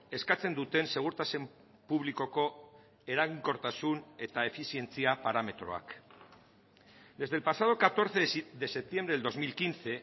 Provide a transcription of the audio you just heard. eskatzen duten segurtasun publikoko eraginkortasun eta efizientzia parametroak desde el pasado catorce de septiembre del dos mil quince